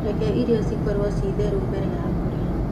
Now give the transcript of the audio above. Reke irio cikorwo ci theru mbere ya kũrĩa.